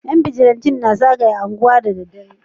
Yan bijilanti na zagaya anguwa da dare